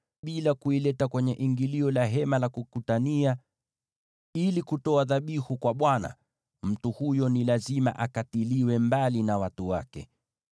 bila kuileta kwenye ingilio la Hema la Kukutania ili kutoa dhabihu kwa Bwana , mtu huyo ni lazima akatiliwe mbali na watu wake.